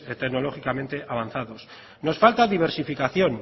tecnológicamente avanzados nos falta diversificación